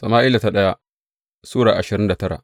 daya Sama’ila Sura ashirin da tara